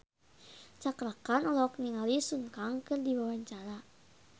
Cakra Khan olohok ningali Sun Kang keur diwawancara